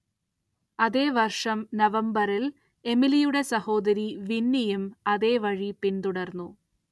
അതേ വർഷം നവംബറിൽ എമിലിയുടെ സഹോദരി വിന്നിയും അതേവഴി പിന്തുടർന്നു.